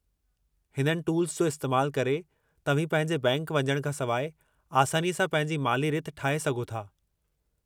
हिननि टूल्स जो इस्तेमालु करे, तव्हीं पंहिंजे बैंकि वञण खां सवाइ, आसानीअ सां पंहिंजी माली-रिथ ठाहे सघो था।